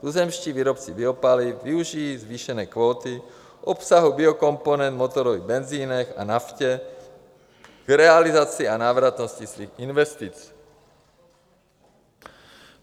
Tuzemští výrobci biopaliv využijí zvýšené kvóty obsahu biokomponent v motorových benzinech a naftě k realizaci a návratnosti svých investic.